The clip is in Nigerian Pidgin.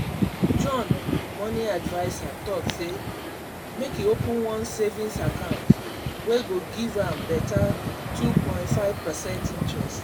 john money adviser talk say make e open one savings account wey go give am beta 2.5 percent interest.